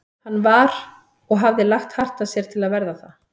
Hann var- og hafði lagt hart að sér til að verða það